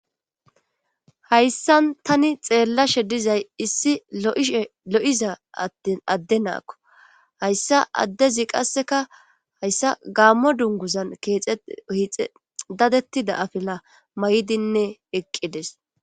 hayssan tani xeellashe dizay issi lo7ishe lo7iza adde naakko hayssa addezi qasseka hayssa gaammo dunguzan keexe ohixe dadettida afila may7idinne eqqides